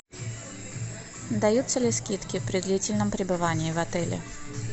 даются ли скидки при длительном пребывании в отеле